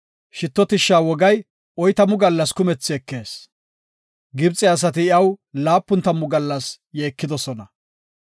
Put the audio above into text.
Shitto tishsha wogay oytamu gallas kumethi ekees. Gibxe asati iyaw laapun tammu gallas yeekidosona.